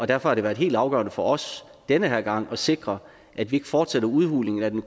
derfor har det været helt afgørende for os denne her gang at sikre at vi ikke fortsætter udhulningen af den